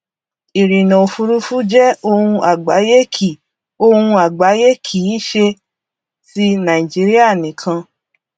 ìrìnà òfurufú jẹ ohun àgbáyé kì ohun àgbáyé kì í ṣe ti nàìjíríà nìkan